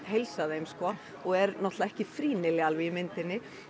heilsa þeim sko og er náttúrulega ekki frýnileg alveg í myndinni